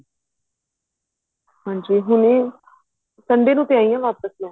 ਹਾਂਜੀ ਹੁਣੇ Sunday ਨੂੰ ਤਾਂ ਆਈ ਹਾਂ ਵਾਪਿਸ